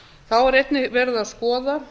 þá er einnig verið að skoða